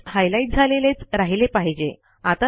text highlight झालेलेच राहिले पाहिजे